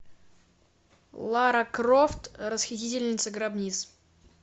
лара крофт расхитительница гробниц